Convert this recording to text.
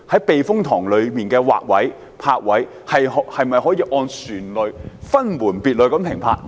避風塘內的泊位及劃位，是否可以按照船隻種類作安排，讓船隻分門別類地停泊？